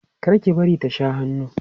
kar ki bari ta Sha hannu